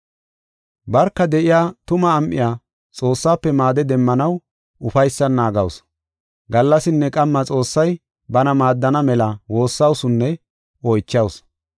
Barka de7iya tuma am7iya Xoossafe maade demmanaw ufaysan naagasu. Gallasinne qamma Xoossay bana maaddana mela woossawusunne oychawusu.